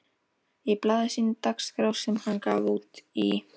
Í blaði sínu Dagskrá, sem hann gaf út í